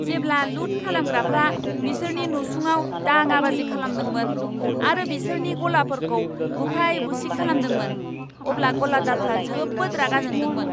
जेब्ला लुट खालामग्राफ्रा बिसोरनि नसुङाव दाङाबाजि खालामदोंमोन आरो बिसोरनि गलाफोरखौ बुफाय बुसि खालामदोंमोन, अब्ला गलादारफ्रा जोबोद रागा जादोंमोन।